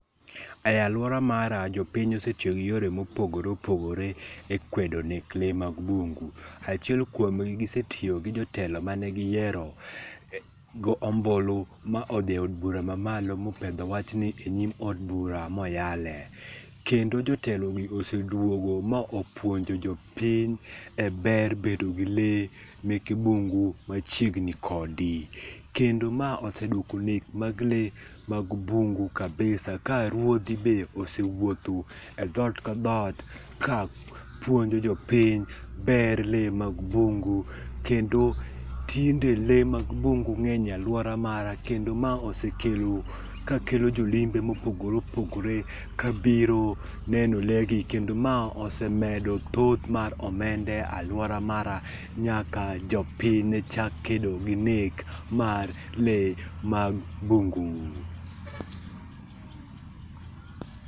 E aluora mara jopiny ose tiyo gi yore mopogore opogore e kwedo nek lee mag bungu. Achiel kuom gi gise tiyo gi jotelo mane giyiero gi ombulu modhi eod bura mamalo mopedho wachni enyim od bura ma oyalee. Kendo jotelogi oseduogo ma opuonjo jopiny eber bedo gi lee meke bungu machiegni kodi. Kendo ma oseduoko nek mag lee mag bungu kabisa ka ruodhi be osewuotho e dhoot ka dhoot kapuonjo jopiny ber lee mag bungu kendo tinde lee mag bingu ng'eny e aluora mara kendo ma osekelo kedo ka kelo jolimbe mopogore opogore kabiro neno lee gi kendo ma ose medo thoth mar omenda e aluora mara nyaka jopiny ne chak kedo gi nek mar lee mag bungu.